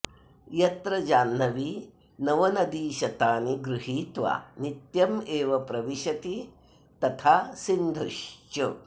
यत्र जाह्नवी नवनदीशतानि गृहीत्वा नित्यमेव प्रविशति तथा सिन्धुश्च